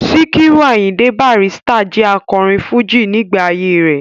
Sikiru Ayinde Barrister jẹ́ akọrin fújì nígbà ayé rẹ̀.